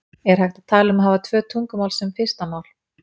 er hægt að tala um að hafa tvö tungumál sem fyrsta mál